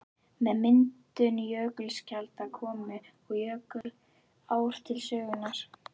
Með myndun jökulskjalda komu og jökulár til sögunnar.